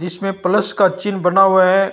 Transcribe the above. जिसमें प्लस का चिन्ह बना हुआ है।